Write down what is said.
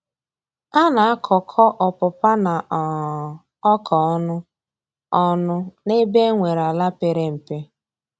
A na-akọ kọ ọpụpa na um oka ọnụ ọnụ n'ebe e nwere ala pere mpe.